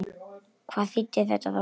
Hvað þýddi þetta þá?